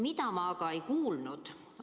Mida ma aga ei kuulnud?